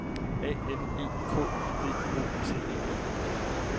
A N E K D O T E N